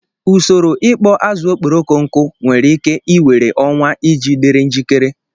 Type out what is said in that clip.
Usoro ikpo azụ okporoko nkụ nwere ike i were ọnwa iji dịrị njikere